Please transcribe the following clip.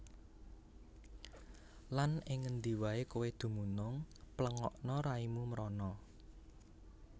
Lan ing ngendi waé kowé dumunung pléngakna raimu mrana